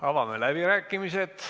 Avame läbirääkimised.